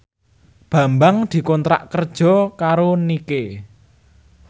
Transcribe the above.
Bambang dikontrak kerja karo Nike